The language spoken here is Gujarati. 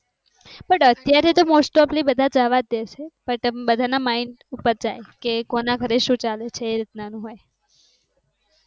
પણ અત્યારે તો most offly બધા જવા દેશે. બધા ના mind ઉપર જાય કે કોના ઘરે શું ચાલે છે એ રીત ના હોય.